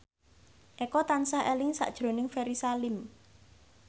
Eko tansah eling sakjroning Ferry Salim